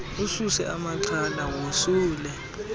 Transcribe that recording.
ususe amaxhala wosule